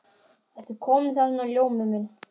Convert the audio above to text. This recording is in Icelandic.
Ertu kominn þarna, Ljómi minn.